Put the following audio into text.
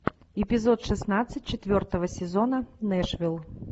эпизод шестнадцать четвертого сезона нэшвилл